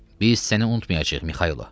Biz səni unutmayacağıq Mikaylo.